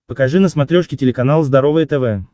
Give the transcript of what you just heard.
покажи на смотрешке телеканал здоровое тв